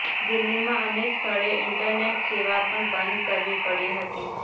દિલ્હીમાં અનેક સ્થળે ઈન્ટરનેટ સેવા પણ બંધ કરવી પડી હતી